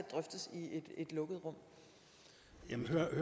jo